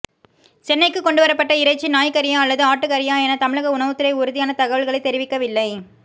சென்னைக்கு கொண்டுவரப்பட்ட இறைச்சி நாய் கறியா அல்லது ஆட்டு கறியா என தமிழக உணவுத்துறை உறுதியான தகவல்களை தெரிவிக்கவில்லை